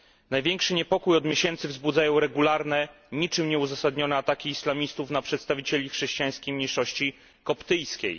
Największy niepokój od miesięcy wzbudzają regularne, niczym nieuzasadnione ataki islamistów na przedstawicieli chrześcijańskiej mniejszości koptyjskiej.